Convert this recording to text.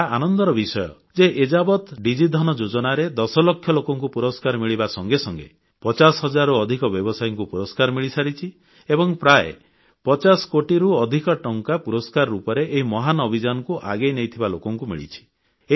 ଏହା ଆନନ୍ଦର ବିଷୟ ଯେ ଏଯାବତ୍ ଡିଜିଧନ ଯୋଜନାରେ ଦଶ ଲକ୍ଷ ଲୋକଙ୍କୁ ପୁରସ୍କାର ମିଳିବା ସଙ୍ଗେ ସଙ୍ଗେ ପଚାଶ ହଜାରରୁ ଅଧିକ ବ୍ୟବସାୟୀଙ୍କୁ ପୁରସ୍କାର ମିଳିସାରିଛି ଏବଂ ପ୍ରାୟ 150 କୋଟିରୁ ଅଧିକ ଟଙ୍କା ପୁରସ୍କାର ରୂପରେଏହି ମହାନ ଅଭିଯାନକୁ ଆଗେଇ ନେଇଥିବା ଲୋକଙ୍କୁ ମିଳିଛି